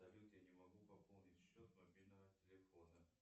салют я не могу пополнить счет мобильного телефона